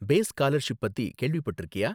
Base scholarship பத்தி கேள்விப்பட்டிருக்கியா?